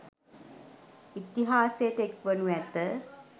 ඉතිහාසයට එක් වනු ඇත.